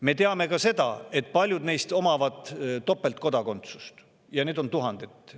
Me teame ka seda, et paljud neist omavad topeltkodakondsust – neid on tuhandeid.